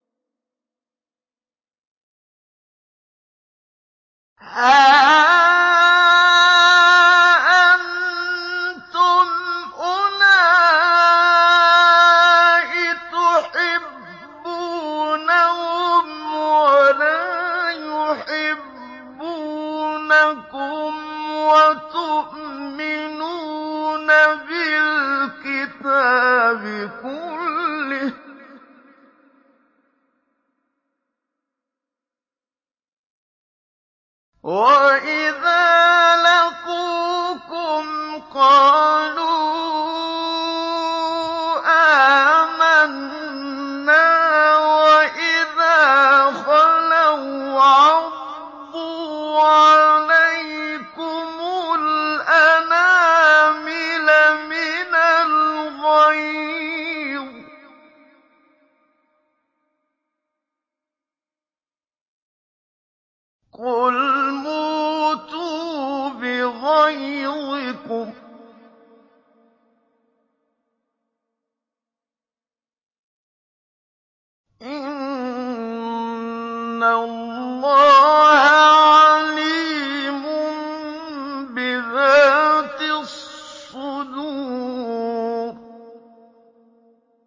هَا أَنتُمْ أُولَاءِ تُحِبُّونَهُمْ وَلَا يُحِبُّونَكُمْ وَتُؤْمِنُونَ بِالْكِتَابِ كُلِّهِ وَإِذَا لَقُوكُمْ قَالُوا آمَنَّا وَإِذَا خَلَوْا عَضُّوا عَلَيْكُمُ الْأَنَامِلَ مِنَ الْغَيْظِ ۚ قُلْ مُوتُوا بِغَيْظِكُمْ ۗ إِنَّ اللَّهَ عَلِيمٌ بِذَاتِ الصُّدُورِ